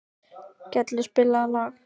Gellir, spilaðu lag.